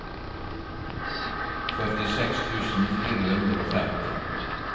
førtiseks tusen fire hundre og femti